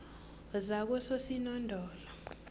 zakososinondola